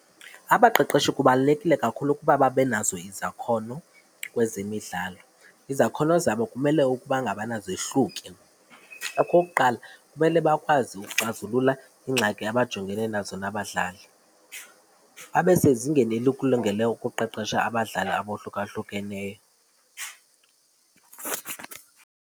Abaqeqeshi kubalulekile kakhulu ukuba babe nazo izakhono kwezemidlalo. Izakhono zabo kumele ukuba ngabana zehluke. Okokuqala, kumele bakwazi ukuxazulula iingxaki abajongene nazo nabadlali. Abe sezingeni elikulungeleyo ukuqeqesha abadlali abohlukahlukeneyo.